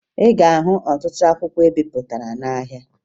Ị ga-ahụ ọtụtụ akwụkwọ ebipụtara n'ahịa